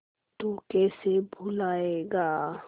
तू कैसे भूलाएगा